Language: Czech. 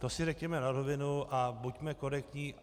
To si řekněme na rovinu a buďme korektní.